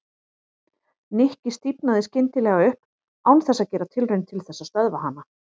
Nikki stífnaði skyndilega upp án þess að gera tilraun til þess að stöðva hana.